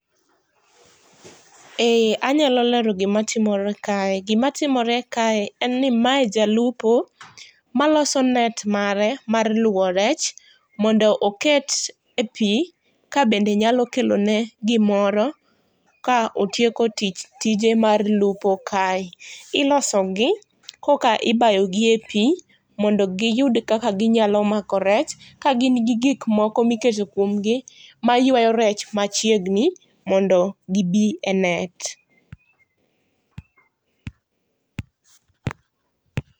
Eeeh anyalo lero gima timore kae, gima timore kae en ni mae jalupo maloso net mare mar luwo rech mondo oket e pii kabende nyalo kelone gimoro ka otieko tich, tije mar lpuo kae, ilosogi koka ibayo gi e pii mondo giyud kaka ginyalo mako rech kagin gin gi gik moko miketo kuomgi maywayo rech machiegni mondo gibi e net